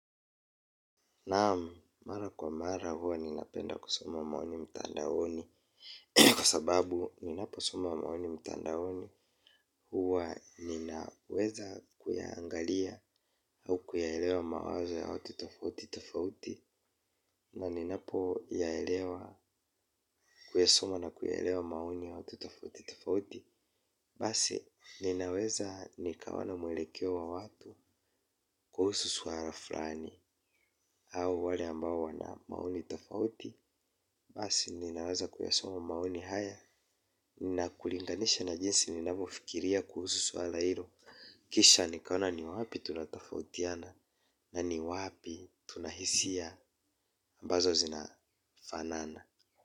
Naam, mara kwa mara huwa ninapenda kusoma maoni mtandaoni. Kwa sababu, ninaposoma maoni mtandaoni huwa ninaweza kuyaangalia au kuyaelewa mawazo ya watu tofauti tofauti. Na ninapo yaelewa kuyasoma na kuyaelewa maoni ya watu tofauti tofauti. Basi, ninaweza nikawa na mwelekeo wa watu kuhusu swala fulani au wale ambao wana maoni tofauti. Basi ninaweza kuyasoma maoni haya. Na kulinganisha na jinsi ninavyofikiria kuhusu swala hilo, kisha nikaona ni wapi tunatofautiana. Na ni wapi tuna hisia, ambazo zinafanana.